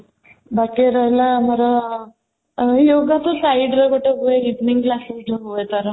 ବାକି ରହିଲା ଆମର yoga କୁ side ରେ ଗୋଟେ ପୁରା evening class ହୁଏ ତା'ର